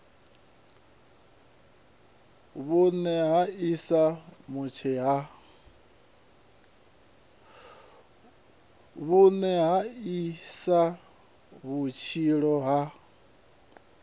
vhune ha isa vhutshilo ha